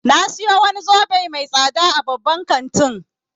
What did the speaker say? Na sayo wani zobe mai tsada a babban kantin